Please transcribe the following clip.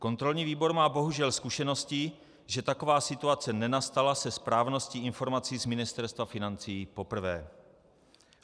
Kontrolní výbor má bohužel zkušenosti, že taková situace nenastala se správností informací z Ministerstva financí poprvé.